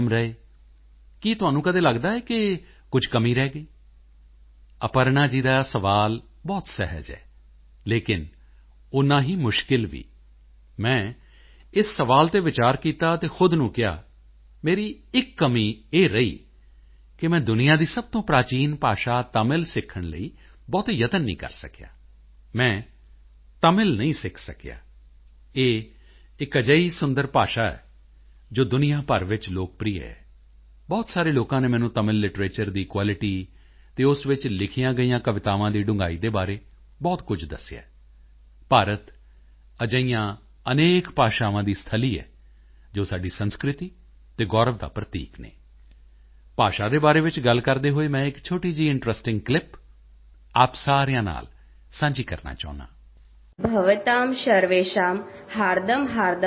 ਰਹੇ ਕਿ ਤੁਹਾਨੂੰ ਕਦੇ ਲਗਦਾ ਹੈ ਕਿ ਕੁਝ ਕਮੀ ਰਹਿ ਗਈ ਅਪਰਣਾ ਜੀ ਦਾ ਸਵਾਲ ਬਹੁਤ ਸਹਿਜ ਹੈ ਲੇਕਿਨ ਓਨਾ ਹੀ ਮੁਸ਼ਕਿਲ ਵੀ ਮੈਂ ਇਸ ਸਵਾਲ ਤੇ ਵਿਚਾਰ ਕੀਤਾ ਅਤੇ ਖੁਦ ਨੂੰ ਕਿਹਾ ਮੇਰੀ ਇੱਕ ਕਮੀ ਇਹ ਰਹੀ ਕਿ ਮੈਂ ਦੁਨੀਆ ਦੀ ਸਭ ਤੋਂ ਪ੍ਰਾਚੀਨ ਭਾਸ਼ਾ ਤਮਿਲ ਸਿੱਖਣ ਲਈ ਬਹੁਤੇ ਯਤਨ ਨਹੀਂ ਕਰ ਸਕਿਆ ਮੈਂ ਤਮਿਲ ਨਹੀਂ ਸਿੱਖ ਸਕਿਆ ਇਹ ਇੱਕ ਅਜਿਹੀ ਸੁੰਦਰ ਭਾਸ਼ਾ ਹੈ ਜੋ ਦੁਨੀਆ ਭਰ ਵਿੱਚ ਲੋਕਪ੍ਰਿਯ ਹੈ ਬਹੁਤ ਸਾਰੇ ਲੋਕਾਂ ਨੇ ਮੈਨੂੰ ਤਮਿਲ ਲਿਟਰੇਚਰ ਦੀ ਕੁਆਲਿਟੀ ਅਤੇ ਉਸ ਵਿੱਚ ਲਿਖੀਆਂ ਗਈਆਂ ਕਵਿਤਾਵਾਂ ਦੀ ਡੂੰਘਾਈ ਦੇ ਬਾਰੇ ਬਹੁਤ ਕੁਝ ਦੱਸਿਆ ਹੈ ਭਾਰਤ ਅਜਿਹੀਆਂ ਅਨੇਕ ਭਾਸ਼ਾਵਾਂ ਦੀ ਸਥਲੀ ਹੈ ਜੋ ਸਾਡੀ ਸੰਸਕ੍ਰਿਤੀ ਅਤੇ ਗੌਰਵ ਦਾ ਪ੍ਰਤੀਕ ਹਨ ਭਾਸ਼ਾ ਦੇ ਬਾਰੇ ਵਿੱਚ ਗੱਲਾਂ ਕਰਦੇ ਹੋਏ ਮੈਂ ਇੱਕ ਛੋਟੀ ਜਿਹੀ ਇੰਟਰੈਸਟਿੰਗ ਕਲਿਪ ਆਪ ਸਾਰਿਆਂ ਨਾਲ ਸਾਂਝੀ ਕਰਨਾ ਚਾਹੁੰਦਾ ਹਾਂ